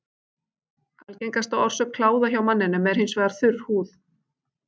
Algengasta orsök kláða hjá manninum er hins vegar þurr húð.